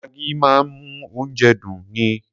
Maggi máa ń mú oúnjẹ dùn ni.